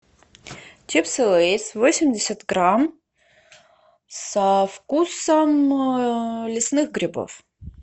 чипсы лейс восемьдесят грамм со вкусом лесных грибов